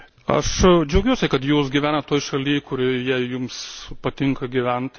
Aš džiaugiuosi, kad Jūs gyvenate toje šalyje, kurioje Jums patinka gyventi.